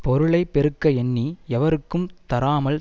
பொருளை பெருக்க எண்ணி எவருக்கும் தராமல்